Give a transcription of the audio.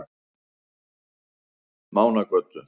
Mánagötu